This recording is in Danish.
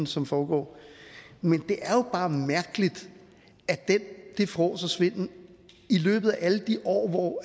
som foregår men det er jo bare mærkeligt at den fråds og svindel i løbet af alle de år hvor